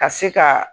Ka se ka